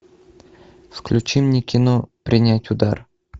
включи мне кино принять удар